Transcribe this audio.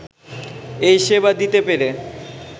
এই সেবা দিতে পেরে